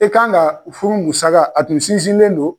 E kan ka furu musaka a tun sinsinnen don